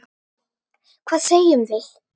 Hvað segjum við?